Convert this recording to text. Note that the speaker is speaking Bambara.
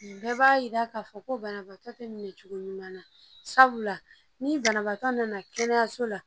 Bɛɛ b'a yira k'a fɔ ko banabaatɔ tɛ minɛ cogo ɲuman na sabula ni banabaatɔ nana kɛnɛyaso la